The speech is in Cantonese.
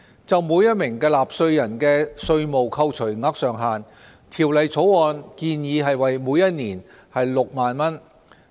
就每名納稅人的稅務扣除額上限，《條例草案》建議為每年6萬元。